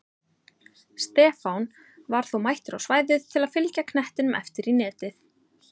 Stefán var þó mættur á svæðið til að fylgja knettinum eftir í netið!